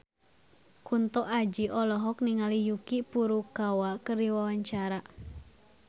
Kunto Aji olohok ningali Yuki Furukawa keur diwawancara